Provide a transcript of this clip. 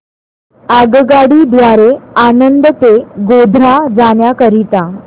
आगगाडी द्वारे आणंद ते गोध्रा जाण्या करीता